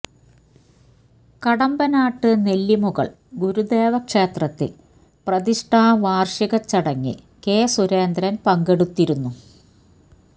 കടമ്പനാട്ട് നെല്ലിമുകൾ ഗുരുദേവ ക്ഷേത്രത്തിൽ പ്രതിഷ്ഠാ വാർഷിക ചടങ്ങിൽ കെ സുരേന്ദ്രൻ പങ്കെടുത്തിരുന്നു